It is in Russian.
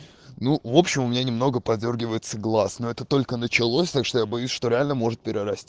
ну в общем у меня немного подёргивается глаз но это только началось так что я боюсь что реально может перерасти